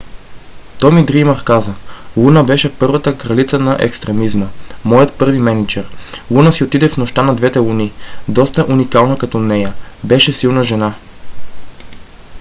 томи дриймър каза: луна беше първата кралица на екстремизма. моят първи мениджър. луна си отиде в нощта на двете луни. доста уникална като нея. беше силна жена.